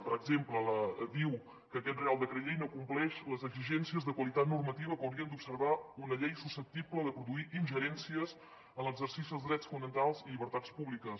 per exemple diu que aquest reial decret llei no compleix les exigències de qualitat normativa que haurien d’observar una llei susceptible de produir ingerències en l’exercici dels drets fonamentals i llibertats públiques